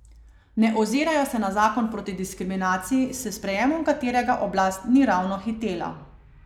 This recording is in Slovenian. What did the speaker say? Ne ozirajo se na zakon proti diskriminaciji, s sprejemom katerega oblast ni ravno hitela.